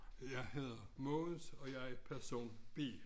Jeg hedder Mogens og jeg er person B